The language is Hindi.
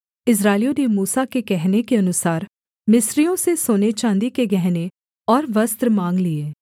इस्राएलियों ने मूसा के कहने के अनुसार मिस्रियों से सोनेचाँदी के गहने और वस्त्र माँग लिए